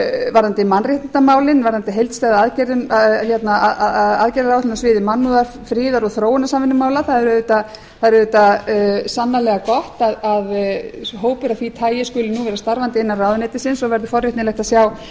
varðandi mannréttindamálin varðandi heildstæða aðgerðaáætlun á sviði mannúðar friðar og þróunarsamvinnumála það er auðvitað sannarlega gott að hópur af því tagi skuli nú vera starfandi innan ráðuneytisins og verður forvitnilegt að sjá